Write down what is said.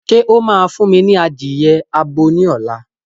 Ṣé o máa fún mi ní adìye abo ní ọ̀la